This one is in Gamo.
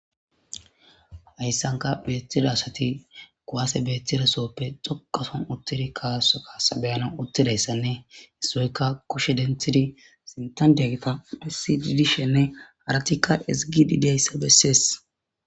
hayssanka beettida asati koaase beettidasooppe xoqason uttedi kaaso kaasa beyana uttidayssanne hissoyka koshe denthidi sintandiya gita phessi didi shenne haratikka esgidideyssa bessees